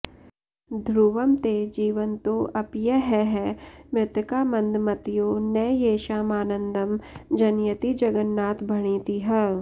ध्रुवं ते जीवन्तोऽप्यहह मृतका मन्दमतयो न येषामानन्दं जनयति जगन्नाथ भणितिः